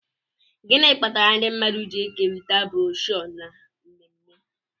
gịnị kpatara ndị mmadụ ji ekerịta broshuọ na mmemme